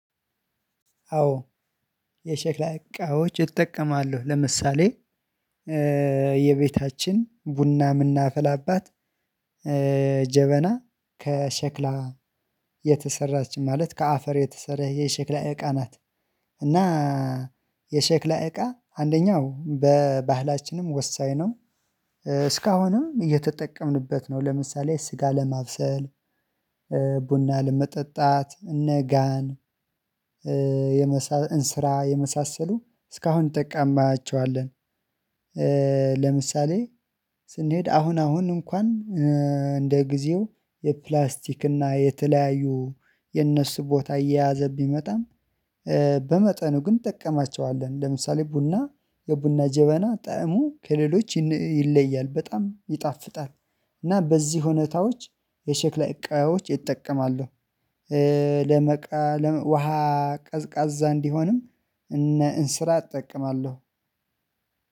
አዎ የሸክላ እቃዎች እጠቀማለሁ። ለምሳሌ የቤታችን ቡና የምናፍላባት ጀበና ከሸክላ የተሰራች ማለት ከአፈር የተሰራ የሸክላ እቃ ናት። እና የሸክላ እቃ አንደኛው በባህላችንም ወሳኝ ነው እስካሁንም እየተጠቀምንበት ነው። ለምሳሌ ስጋ ለማብሰል ቡና ለመጠጣት እነ ጋን የመሳሰሉ እስካሁን ጠቃማቸዋለን። ለምሳሌ ስንሄድ አሁን አሁን እንኳን እንደ ጊዜው የፕላስቲክ እና የተለያዩ የነሱ ቦታ እየያዘ ቢመጣም በመጠኑ ግን እንጠቀማቸዋለን። ለምሳሌ ቡና የቡና ጀበና ጠዕሙ ከሌሎች ይለያል በጣም ይጣፍጣል። እና በዚህ ሁኔታዎች የሼክላ እቃዎች እጠቀማለሁ። ለመቃ ውሃ ቀዝቃዛ እንዲሆንም እነ እንስራት እጠቅማለሁ።